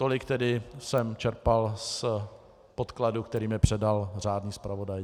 Tolik tedy jsem čerpal z podkladu, který mi předal řádný zpravodaj.